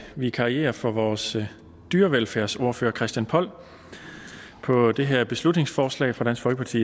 vikariere for vores dyrevelfærdsordfører herre christian poll på det her beslutningsforslag fra dansk folkeparti